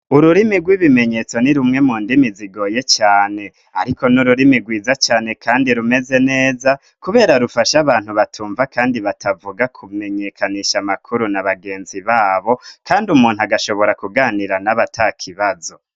Ururimi rw'ibimenyetso ni rumwe mu ndimi zigoye cane, ariko n'ururimi rwiza cane, kandi rumeze neza, kubera rufasha abantu batumva, kandi batavuga kumenyekanisha amakuru na bagenzi babo, kandi umuntu agashobora kuganira n'abata kibazo.